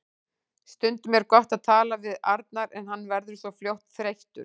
Stundum er gott að tala við Arnar en hann verður svo fljótt þreyttur.